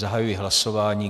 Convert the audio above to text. Zahajuji hlasování.